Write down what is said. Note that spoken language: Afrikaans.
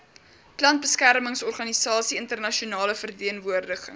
plantbeskermingsorganisasie internasionale verteenwoordiging